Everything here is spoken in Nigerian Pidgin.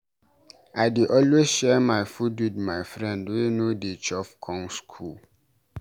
I dey always share my food wit my friend wey no dey chop come skool.